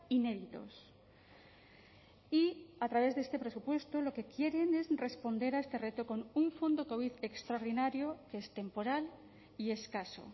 inéditos y a través de este presupuesto lo que quieren es responder a este reto con un fondo covid extraordinario que es temporal y escaso